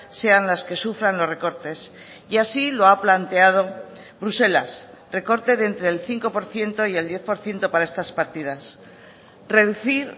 sean las que sufran los recortes y así lo ha planteado bruselas recorte de entre el cinco por ciento y el diez por ciento para estas partidas reducir